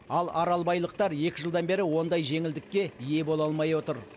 ал аралбайлықтар екі жылдан бері ондай жеңілдікке ие бола алмай отыр